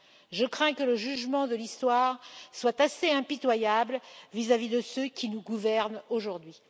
Je crains que le jugement de l'Histoire soit assez impitoyable à l'égard de ceux qui nous gouvernent aujourd'hui.